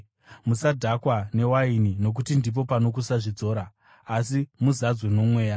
Musadhakwa newaini, nokuti ndipo pano kusazvidzora. Asi, muzadzwe noMweya.